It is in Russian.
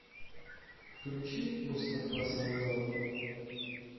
включи мустафа сандал